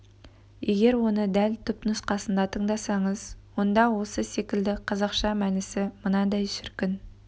егер оны дәл түпнұсқасында тыңдасаңыз онда осы секілді қазақша мәнісі мынандай шіркін